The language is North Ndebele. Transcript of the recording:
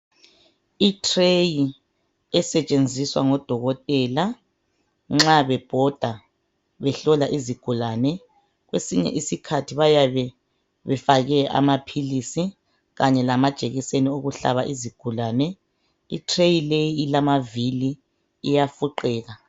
I tray esetshenziswa ngodokotela nxa bebhoda behlola izigulane kwesinye isikhathi bayabe befake amaphilisi Kanye lamajekiseni okuhlaba izigulane. I tray leyi ilamavili iyafuqeka.